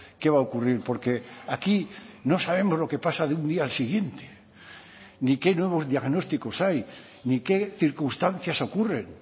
qué va a ocurrir porque aquí no sabemos lo que pasa de un día al siguiente ni qué nuevos diagnósticos hay ni qué circunstancias ocurren